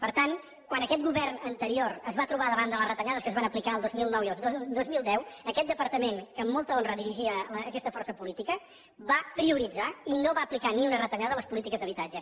per tant quan aquest govern anterior es va trobar davant de les retallades que es van aplicar el dos mil nou i el dos mil deu aquest departament que amb molta honra dirigia aquesta força política va prioritzar i no va aplicar ni una retallada a les polítiques d’habitatge